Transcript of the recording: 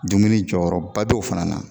Dumuni jɔyɔrɔba d'o fana na